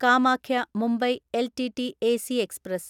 Kamakhya Mumbai LTT AC express